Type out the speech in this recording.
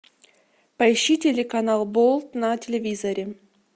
поищи телеканал болт на телевизоре